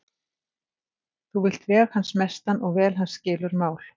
Þú vilt hans veg sem mestan og vel hans skilur mál.